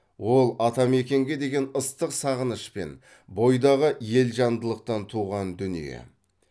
ол атамекенге деген ыстық сағыныш пен бойдағы елжандылықтан туған дүние